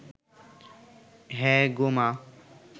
হ্যাঁ গো মা